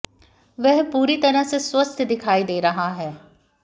वह पूरी तरह से स्वस्थ दिखाई दे रहा है